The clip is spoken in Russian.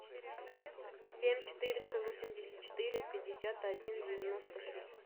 семь четыреста восемьдесят четыре пятьдесят один девяносто три